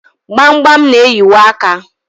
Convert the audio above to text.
gbamgbam na-eyiwa aka.